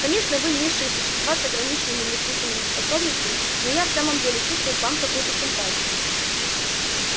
конечно вы низшие существа с ограниченными мыслительными способностями но я в самом деле чувствую к вам какую-то симпатию